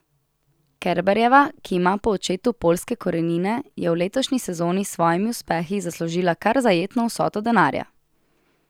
Kerberjeva, ki ima po očetu poljske korenine, je v letošnji sezoni s svojimi uspehi zaslužila kar zajetno vsoto denarja.